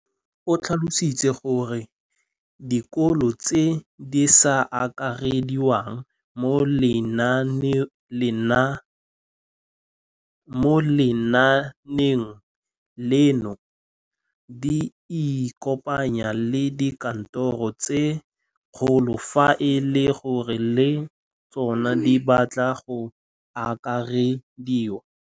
O tlhalositse gore dikolo tse di sa akarediwang mo lenaaneng leno di ikopanye le dikantoro tsa kgaolo fa e le gore le tsona di batla go akarediwa.